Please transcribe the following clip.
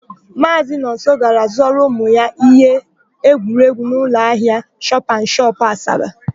Maazị Nonso gara zụọrọ ụmụ ya íhé egwuregwu n'ụlọahịa shọpanshọp, Asaba.